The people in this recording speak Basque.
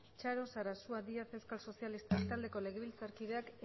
txaro sarasua díaz euskal sozialistak taldeko legebiltzarkideak